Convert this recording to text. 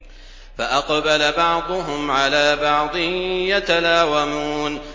فَأَقْبَلَ بَعْضُهُمْ عَلَىٰ بَعْضٍ يَتَلَاوَمُونَ